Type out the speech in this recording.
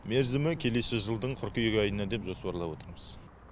мерзімі келесі жылдың қыркүйек айына деп жоспарлап отырмыз